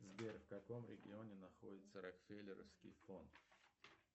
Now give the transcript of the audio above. сбер в каком регионе находится рокфеллеровский фонд